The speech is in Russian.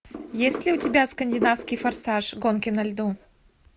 есть ли у тебя скандинавский форсаж гонки на льду